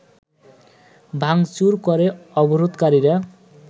ভাঙচুর করে অবরোধকারীরা